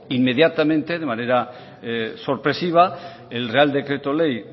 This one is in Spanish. inmediatamente de manera sorpresiva el real decreto ley